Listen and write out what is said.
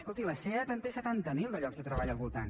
escolti la seat en té setanta mil de llocs de treball al voltant